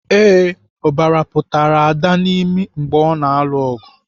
Ee, ọbara pụtara Ada n'imi mgbe ọ na-alụ ọgụ.